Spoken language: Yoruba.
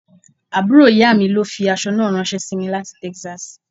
Àbúrò ìyá mi ló fi aṣọ náà ranse sí mi láti Texas.